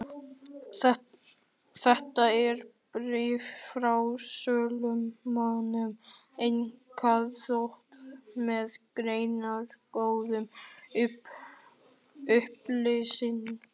Þetta er bréf frá sölumönnum einkaþotu, með greinargóðum upplýsingum.